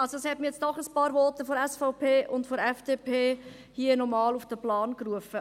Es haben mich doch noch ein paar Voten der SVP und der FDP nochmals auf den Plan gerufen.